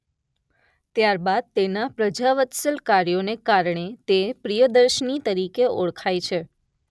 ત્યારબાદ તેના પ્રજાવત્સલ કાર્યોને કારણે તે પ્રિયદર્શની તરીકે ઓળખાય છે.